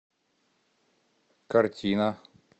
картина